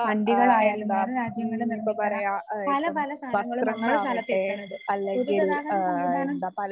വണ്ടികളായാലും വേറെ രാജ്യങ്ങളിൽ നിർമിക്കണ പല പല സാധനങ്ങളും നമ്മുടെ സ്ഥലത്ത് എത്തണത്. പൊതുഗതാഗത സംവിധാനം